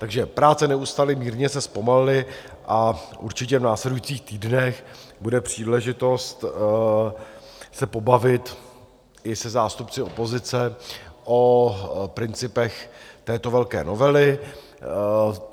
Takže práce neustaly, mírně se zpomalily, a určitě v následujících týdnech bude příležitost se pobavit i se zástupci opozice o principech této velké novely.